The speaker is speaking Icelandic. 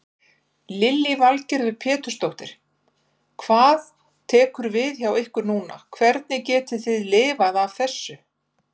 Lillý Valgerður Pétursdóttir: Hvað tekur við hjá ykkur núna, hvernig getið þið lifað af þessu?